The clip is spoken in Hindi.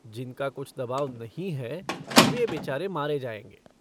जिनका कुछ दबाव नहीं है वे बेचारे मारे जायेंगे।